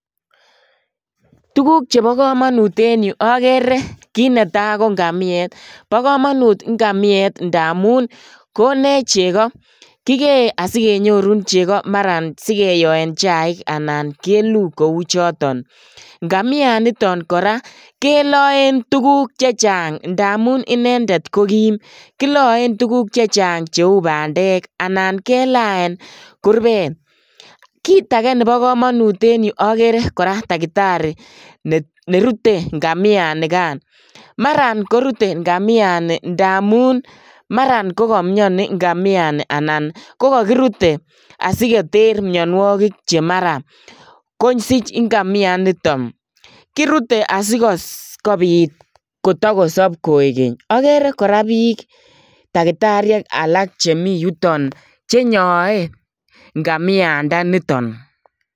Tukuk chebokomonut en yuu okeree kiit netaa ko ng'amiet, bokomonut ng'amiet ndamun konech chekoo, kikee asikenyorun chekoo maran sikiyoen chaik anan keluu kouchoton, ng'amianiton kora keloen tukuk chechang ndamun inendet kokiim, kiloen tukuk chechang cheuu bandek anan kelean kurbet, kiit akee neboo komonut en yuu okeree kora takitari nerute ng'amianikan, maraan korute ng'amiani ndamun maraan kokomioni nga'amiani anan kokokirute asikoter mionwokik chemaraa kosich ng'amianiton, kirute asikobiit kotokosob koikeny, okeree kora biik takitariek alak chemiyuton yuton chenyoe ng'amiandaniton.